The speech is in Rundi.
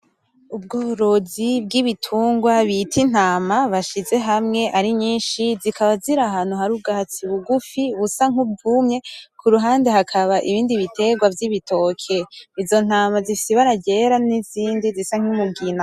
Ubworozi bwibitungwa bita Intama bashize hamwe ari nyinshi zikaba ziri ahantu hari ubwatsi bugufi busa nkubwumye kuruhande hakaba ibindi bitegwa vy,ibitoki. Izo ntama zifise ibara ryera nizindi zisa numugina .